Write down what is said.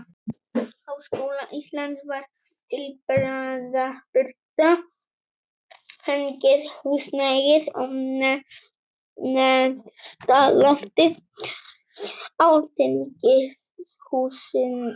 Háskóla Íslands var til bráðabirgða fengið húsnæði á neðsta lofti alþingishússins.